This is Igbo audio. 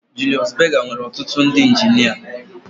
Ee Julius Berger nwere ọtụtụ ndị injinia